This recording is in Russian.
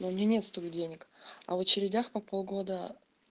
у меня нет столько денег а в очередях по полгода